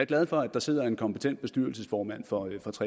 glad for at der sidder en kompetent bestyrelsesformand for